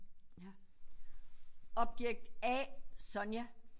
Objekt A Sonja